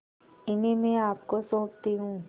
इन्हें मैं आपको सौंपती हूँ